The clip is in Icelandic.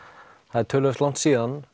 það er töluvert langt síðan